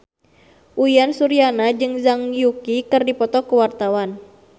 Uyan Suryana jeung Zhang Yuqi keur dipoto ku wartawan